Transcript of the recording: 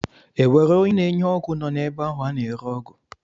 E nwere onye na-enye ọgwụ nọ n'ebe ahụ a na-ere ọgwụ?